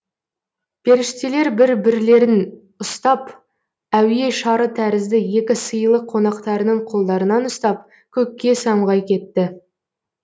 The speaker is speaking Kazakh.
періштелер бір бірлерін ұстап әуе шары тәрізді екі сыйлы қонақтарының қолдарынан ұстап көкке самғай кетті